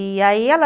E aí ela...